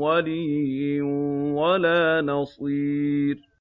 وَلِيٍّ وَلَا نَصِيرٍ